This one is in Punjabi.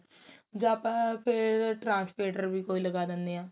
ਜਾਂ ਆਪਾਂ ਫੇਰ translator ਵੀ ਕੋਈ ਲਗਾ ਦਿੰਦੇ ਆ